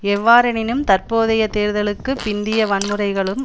எவ்வாறெனினும் தற்போதைய தேர்தலுக்கு பிந்திய வன்முறைகளும்